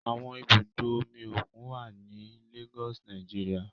Awọn ibudo omi okun wa ni Lagos, Nigeria